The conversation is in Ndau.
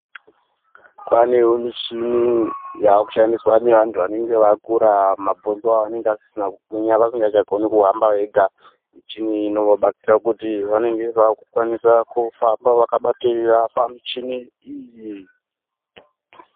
Kwaanewo mishini yave kushandiswa ngevantu vanenge vakura mabhonzo avo anenge asisina kugwinya vasingachagoni kuhamba vega. Michini iyi inobatsira kuti vanenge vakukwanisa kufamba vakabatiririra pamichini iyi.